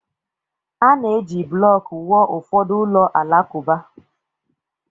A na-eji blọk wụọ ụfọdụ ụlọ alakụba.